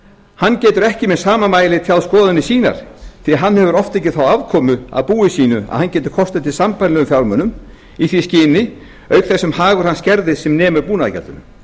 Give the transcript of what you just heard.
hann getur ekki með sama mæli tjáð skoðanir sínar því hann hefur oft ekki þá afkomu af búi sínu að hann geti kostað til sambærilegum fjármunum í því skyni auk þess sem hagur hans skerðist sem nemur búnaðargjaldinu